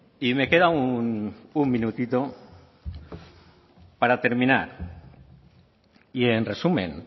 y me queda un minutito para terminar y en resumen